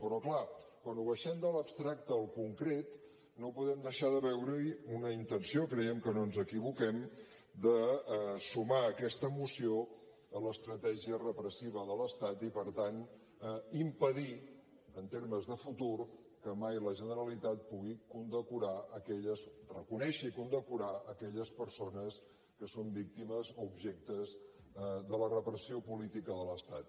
però clar quan ho abaixem de l’abstracte al concret no podem deixar de veure hi una intenció creiem que no ens equivoquem de sumar aquesta moció a l’estratègia repressiva de l’estat i per tant impedir en termes de futur que mai la generalitat pugui reconèixer i condecorar aquelles persones que són víctimes o objectes de la repressió política de l’estat